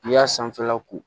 N'i y'a sanfɛla ko